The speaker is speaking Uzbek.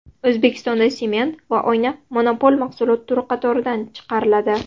O‘zbekistonda sement va oyna monopol mahsulot turi qatoridan chiqariladi.